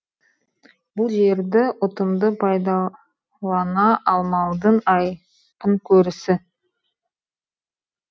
бұл жерді ұтымды пайдалана алмаудың айқын көрісі